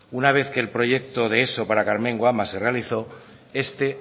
una vez que el proyecto de eso para karmengo ama se realizó este